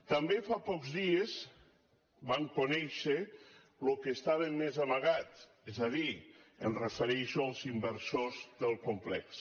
també fa pocs dies vam conèixer el que estava més amagat és a dir em refereixo als inversors del com·plex